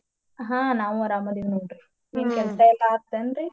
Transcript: ಹಾ ನಾವು ಆರಾಮ ಅದೇವ ನೋಡ್ರಿ ಏನ ಕೆಲ್ಸಾ ಎಲ್ಲಾ ಆಯ್ತೆನ್ರಿ?